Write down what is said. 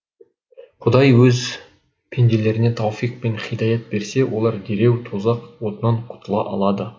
құдай өз пенделеріне тауфиқ пен һидаят берсе олар дереу тозақ отынан құтыла алады